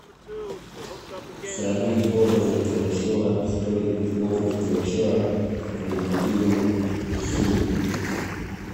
сравнить образы пугачева в истории и образ пугачева в произведении есенина